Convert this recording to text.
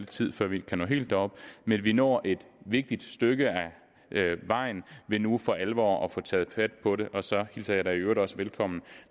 tid før vi kan nå helt derop men vi når et vigtigt stykke ad vejen ved nu for alvor at få taget fat på det og så hilser jeg i øvrigt også velkommen